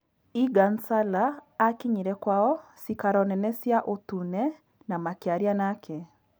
Eagan Sallaakinyire kwao cikaro nene cia ũtune na makĩaria nake